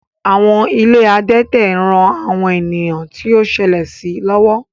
Àwọn ilé adẹ́tẹ̀ ń ran àwọn ènìyàn tó ṣẹlẹ̀ sí lọ́wọ́